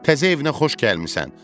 Təzə evinə xoş gəlmisən.